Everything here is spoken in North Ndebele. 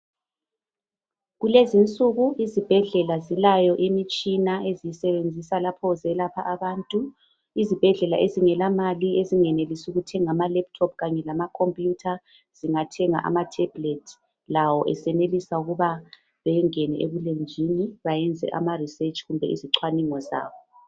Kulezinsuku izibhedlela zilayo imitshina eziyisebenzisa lapho zelapha abantu. Izibhedlela ezingela mali ezingenelisi ukuthenga amalephuthophu kanye lamakhompuyutha zingathenga amathebhulethi lawo, esenelisa ukuba bangene ebulenjini bayenza amaresetshi kumbe izichwaningo zabo.